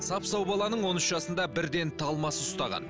сап сау баланың он үш жасында бірден талмасы ұстаған